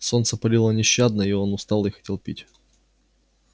солнце палило нещадно и он устал и хотел пить